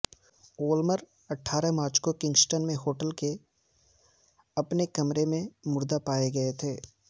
وولمراٹھارہ مارچ کو کنگسٹن میں ہوٹل کے اپنے کمرے میں مردہ پائے گئے تھے